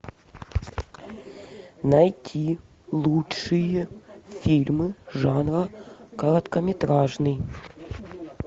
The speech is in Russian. найти лучшие фильмы жанра короткометражный